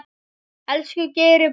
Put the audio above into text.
Elsku Geiri brói.